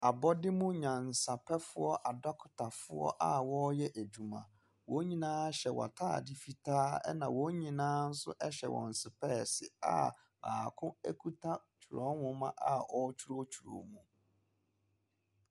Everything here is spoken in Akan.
Abɔde mu nyansapɛfoɔ adɔkotafoɔ a wɔreyɛ adwuma, wɔn nyinaa hyɛ wɔn ataade fitaa na wɔn nyinaa nso hyɛ wɔn sepɛɛse a baako kita twerɛnwoma a ɔretwerɛtwerɛ mu.